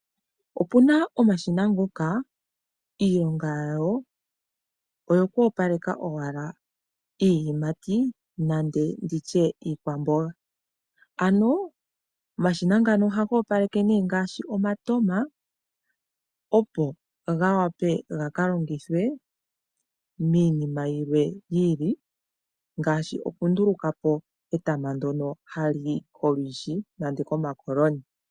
Opuna omashina ngoka iilonga yawo oku opaleka owala iiyimati nenge iikwamboga. Ano omashina ngano ohaga opaleke nee ngaashi omatama opo ga wape ga kalongithwe miinima yimwe yi ili ngaashi oku ndulukapo etama ndono hali yi kolwishi nenge komakoloni.